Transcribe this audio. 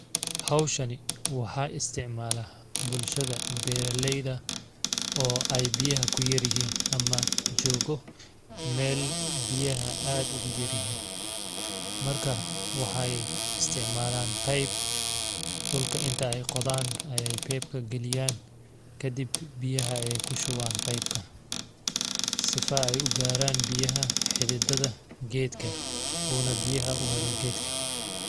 Hawshani waxaa isticmalaa bulshada beeralayda oo ay biyaha kuyar yihiin ama joogo meel biyaha aad ugu yar yihiin marka waxa ay isticmalaan pipe dhulka inta ay qodaan ayeey pipe ka galiyaan kadib biyaha ayeey ku shubaan pipe ka sifa ay ugaraan biyaha xididada geedka uuna biyaha u helo geedka .